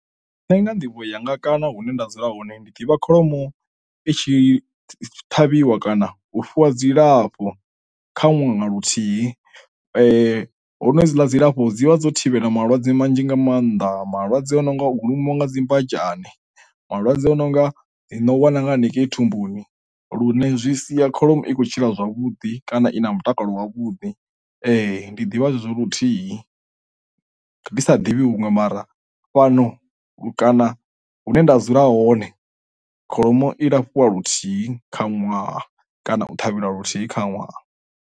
Nṋe nga nḓivho yanga kana hune nda dzula hone ndi ḓivha kholomo i tshi ṱhavhiwa kana u fhiwa dzilafho kha ṅwaha na luthihi ho no hedzila dzilafho dzi vha dzo thivhela malwadze manzhi nga maanḓa malwadze a no nga u lumiwa nga dzi mbanzhe, malwadze a no nga dzi no wana nga haningei thumbuni lune zwi sia kholomo i khou tshila zwavhuḓi kana i na mutakalo wavhuḓi. Ndi ḓivha zwezwo luthihi ri ndisa divhi huṅwe, mara fhano kana hune nda dzula hone kholomo i lafhiwa luthihi kha ṅwaha kana u ṱhavhela luthihi kha ṅwaha.